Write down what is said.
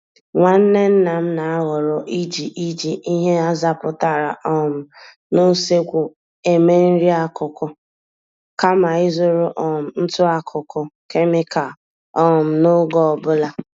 Nwanne nna m na-ahọrọ iji iji ihe azapụtara um n'usekwu eme nri-akụkụ kama ịzụrụ um ntụakuku kemịkal um n'oge ọ bụla.